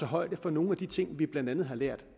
højde for nogle af de ting vi blandt andet har lært